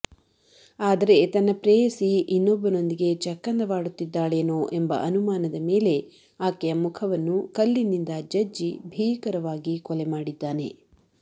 ಆದರೆ ತನ್ನ ಪ್ರೇಯಸಿ ಇನ್ನೊಬ್ಬನೊಂದಿಗೆ ಚಕ್ಕಂದವಾಡುತ್ತಿದ್ದಾಳೆನೋ ಎಂಬ ಅನುಮಾನದ ಮೇಲೆ ಆಕೆಯ ಮುಖವನ್ನು ಕಲ್ಲಿನಿಂದ ಜಜ್ಜಿ ಭೀಕರವಾಗಿ ಕೊಲೆ ಮಾಡಿದ್ದಾನೆ